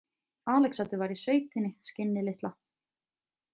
Alexander var í sveitinni, skinnið litla.